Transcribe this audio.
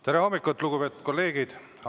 Tere hommikust, lugupeetud kolleegid!